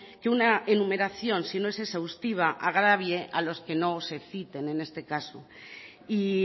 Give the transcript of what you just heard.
que una enumeración si no es exhaustiva agravie a los que no se citen en este caso y